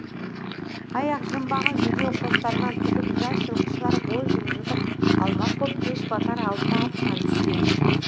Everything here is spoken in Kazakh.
аяқ жымбаға жүдеу қостарын тігіп жас жылқышылар бой жылытып алмақ боп кеш батар алдында аттан түскен